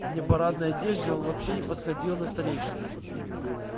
в непарадной одежде он вообще не походил на старейшину